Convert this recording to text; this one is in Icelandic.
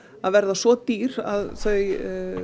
verða svo dýr að þau